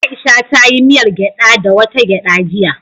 Aisha ta yi miyar gyada da wata gyada jiya.